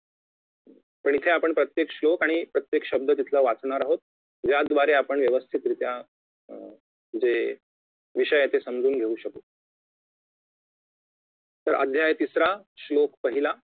पण इथे आपण प्रत्येक श्लोक आणि प्रत्येक शब्द तिथला वाचणार आहोत ज्याद्वारे आपण व्यवस्थितरित्या अं म्हणजे विषय आहे तो समजून घेऊ शकू तर अध्याय तिसरा श्लोक पहिला